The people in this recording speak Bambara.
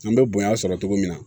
An bɛ bonya sɔrɔ cogo min na